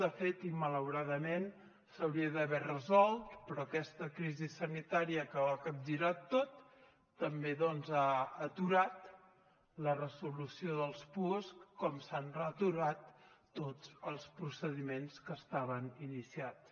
de fet i malauradament s’hauria d’haver resolt però aquesta crisi sanitària que ho ha capgirat tot també doncs ha aturat la resolució dels puosc com s’han aturat tots els procediments que estaven iniciats